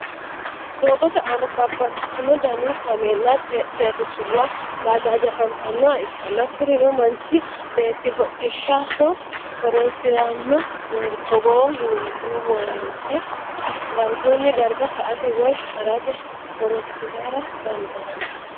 doogote aanna babaxitino danni cameela, xexerisuwanna bajajja afanitannoha ikanna kurino manchi beeti hodhishaho horonisirano togo yineemo woyite darguni darga sa'ate woyi harate horonsirara dandaano.